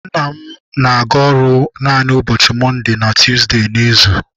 Nna m na-aga ọrụ naanị ụbọchị mọnde na tuuzde n'izu.